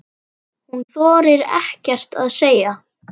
Hún þorir ekkert að segja.